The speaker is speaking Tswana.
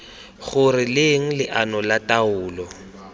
gore leng leano la taolo